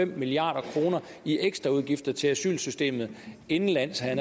milliard kroner i ekstra udgifter til asylsystemet indenlands havde